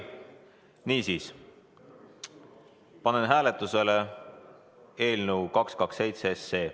Niisiis, panen hääletusele eelnõu 227.